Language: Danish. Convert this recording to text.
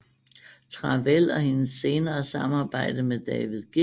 Travell og hendes senere samarbejde med David G